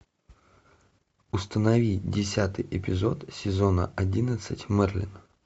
установи десятый эпизод сезона одиннадцать мерлин